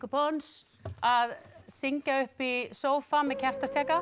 pons að syngja upp í sófa með kertastjaka